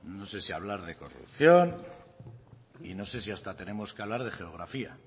no sé si hablar de corrupción y no sé si hasta tenemos que hablar de geografía